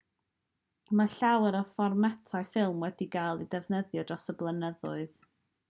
mae llawer o fformatau ffilm wedi cael eu defnyddio dros y blynyddoedd. ffilm 35 mm 36 wrth 24 mm yw'r un mwyaf cyffredin o ddigon